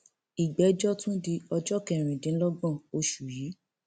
ìgbẹjọ tún di ọjọ kẹrìndínlọgbọn oṣù yìí